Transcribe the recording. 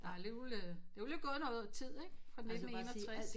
Der er alligevel øh der er alligevel gået noget tid siden fra 1961